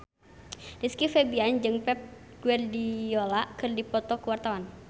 Rizky Febian jeung Pep Guardiola keur dipoto ku wartawan